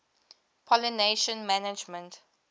pollination management